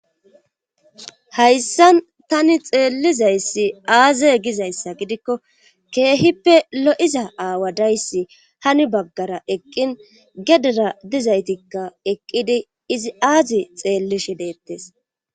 hayssa tani xeellizayssi aaze gizayssa gidikko keehippe lo'iza aawa dayssi hani baggara eqqin gedera dizaytikka eqqidi izi aazi xeellishe deettes